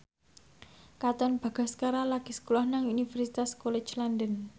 Katon Bagaskara lagi sekolah nang Universitas College London